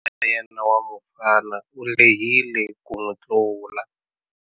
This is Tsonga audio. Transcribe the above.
Wa yena wa mufana u lehile ku n'wi tlula.